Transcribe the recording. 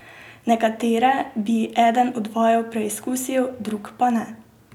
Nekatere bi eden od vaju preizkusil, drug pa ne.